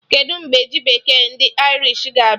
Kedụ mgbe ji bekee ndị Irish ga-abịa?